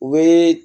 U bɛ